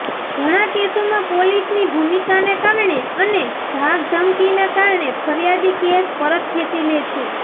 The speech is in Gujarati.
ઘણા કેસોમાં પોલીસની ભૂમિકાના કારણે અને ધાકધમકીના કારણે ફરિયાદી કેસ પરત ખેચી લે છે